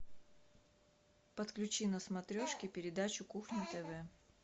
подключи на смотрешке передачу кухня тв